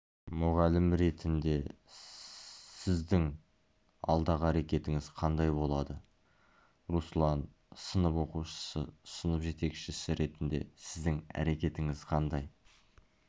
мұғалім ретінде сіздің алдағы әрекетіңіз қандай болады руслан сынып оқушысы сынып жетекшісі ретінде сіздің әрекетіңіз қандай